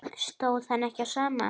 Stóð ekki á sama.